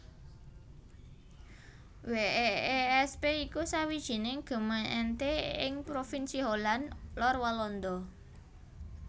Weesp iku sawijining gemeente ing provinsi Holland Lor Walanda